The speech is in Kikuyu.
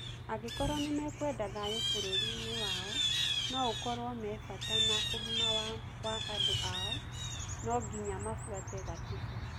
Angĩkũrwo nĩmekwenda thayũ bũrũrinĩ wao, na ũkorwo mĩbata na ugima wa andũ ao, no nginya mafuate gatiba